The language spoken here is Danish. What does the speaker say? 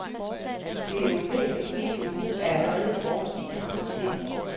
Det europæiske prisniveau er allerede forholdsvis harmoniseret.